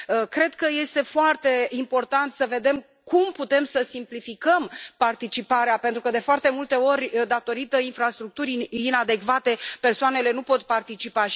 Cred că este foarte important să vedem cum putem să simplificăm participarea pentru că, de foarte multe ori, din cauza infrastructurii inadecvate, persoanele nu pot participa.